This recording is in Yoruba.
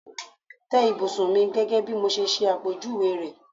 Tẹ́ ìbùsùn mi gẹ́gẹ́ bí mo ṣe ṣẹ àpèjúwe rẹ̀!